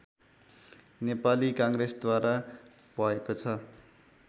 नेपाली काङ्ग्रेसद्वारा भएको छ